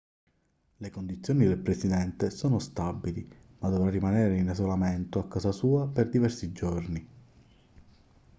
le condizioni del presidente sono stabili ma dovrà rimanere in isolamento a casa sua per diversi giorni